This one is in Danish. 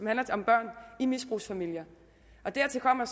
handler om børn i misbrugsfamilier dertil kommer